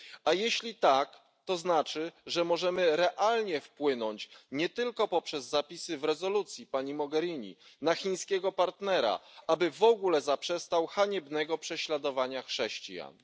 A jeśli tak, to znaczy, że możemy realnie wpłynąć nie tylko poprzez zapisy w rezolucji, pani Mogherini, na chińskiego partnera, aby w ogóle zaprzestał haniebnego prześladowania chrześcijan.